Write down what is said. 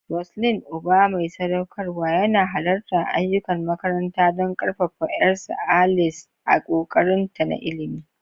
Roseline, uba mai sadaukarwa, yana halartar ayyukan makaranta don ƙarfafa 'yarsa, Alice, a ƙoƙarinta na ilimi.